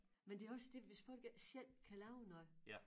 Men det også det hvis folk ikke selv kan lave noget